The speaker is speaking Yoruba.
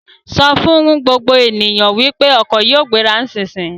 Sọ fún gbogbo ènìyàn wípé ọkọ̀ yìí yóò gbéra nísisìyìí!